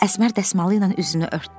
Əsmər dəsmalı ilə üzünü örtdü.